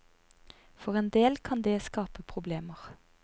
For en del kan det skape problemer.